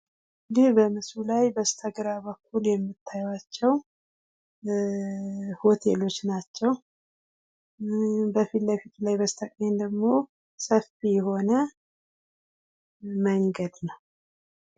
ይህ በምስሉ ላይ በስተግራ በኩል የምታዩዋቸው ሆቴሎች ናቸው ። በፊት ለፊት ላይ በስተቀኝ ደግሞ ሰፊ የሆነ መንገድ ነው።